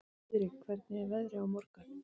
Friðrik, hvernig er veðrið á morgun?